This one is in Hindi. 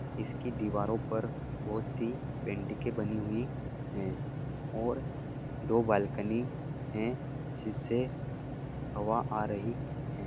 इसकी दीवारों पर बहुत सी पैनिटंगे बनी हुई है और दो बालकनी है जिस्से हवा आ रही है।